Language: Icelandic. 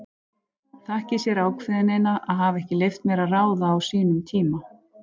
Þakki sér ákveðnina að hafa ekki leyft mér að ráða á sínum tíma.